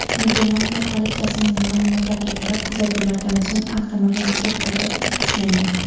Niderlandiya politsiyasining ma’lumotlariga ko‘ra, kuzatuvlardan so‘ng avtomobil to‘xtatib ushlangan.